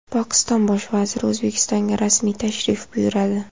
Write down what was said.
Pokiston Bosh vaziri O‘zbekistonga rasmiy tashrif buyuradi.